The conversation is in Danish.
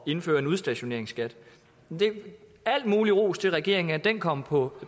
indføre en udstationeringsskat al mulig ros til regeringen fordi den kom på